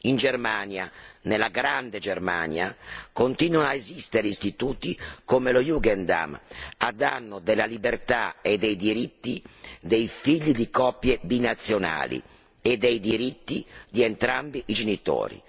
In Germania, nella grande Germania, continuano ad esistere istituti come lo Jungendamt a danno della libertà e dei diritti dei figli di coppie binazionali e dei diritti dei entrambi i genitori.